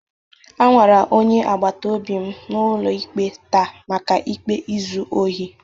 A nwara onye agbata obi m n'ụlọ ikpe taa maka ikpe izu ohi.